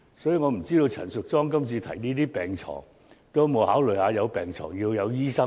所以，我不知道陳淑莊議員今次提出增加病床的建議時，有否考慮到有病床也要有醫生。